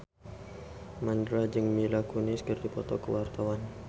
Mandra jeung Mila Kunis keur dipoto ku wartawan